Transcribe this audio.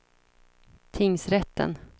tingsrätten